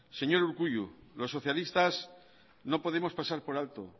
señor urkullu los socialistas no podemos dejar pasar por alto